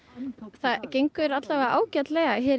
það gengur ágætlega hérna í